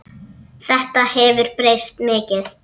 Þetta hefur breyst mikið.